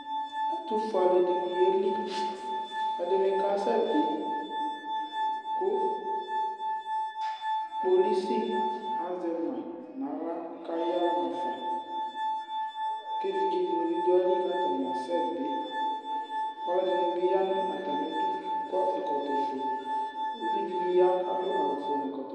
Ɛtʋfue alʋɛdɩnɩ yeli Ɛdɩnɩ kasɛbɩ kʋ kpolisi azɛ ma nʋ aɣla kʋ ayaɣa nʋ afa kʋ evidzenɩ bɩ dʋ ayili kʋ atanɩ asɛbɩ Ɔlɔdɩnɩ bɩ ya nʋ atamɩdu kɔ ɛkɔtɔfue, uvi dɩ bɩ ya kʋ adʋ awʋfue nʋ ɛkɔtɔfue